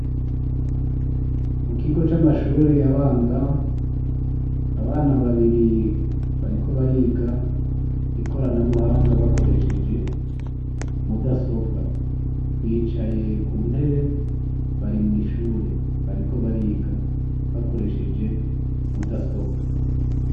Mu kigo c'amashure abanza, abana babiri bariko bariga ikoranabuhanga bakoresheje mudasobwa, bicaye ku ntebe bariko mw'ishure bariko bariga bakoresheje mudasobwa.